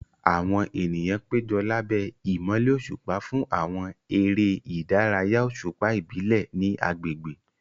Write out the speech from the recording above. Àwọn ènìyàn péjọ lábẹ́ ìmọ́lẹ̀ òṣùpá fún àwọn eré ìdárayá òṣùpá ìbílẹ̀ ní agbègbè.